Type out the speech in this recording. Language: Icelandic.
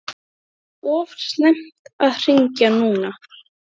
Þegar hann var sestur með þau opnuðust dyrnar.